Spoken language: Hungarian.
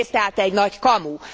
Az egész tehát egy nagy kamu!